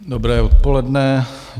Dobré odpoledne.